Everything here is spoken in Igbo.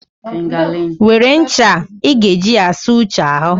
Were ncha a, ị ga-eji ya saa Uche ahụ.